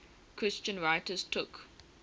christian writers took